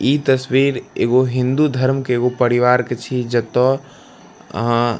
ई तस्वीर एगो हिन्दू धर्म के एगो परिवार की छी जता अ --